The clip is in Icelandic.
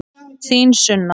Þín Sunna.